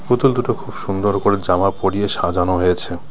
পুতুল দুটো খুব সুন্দর করে জামা পরিয়ে সাজানো হয়েছে .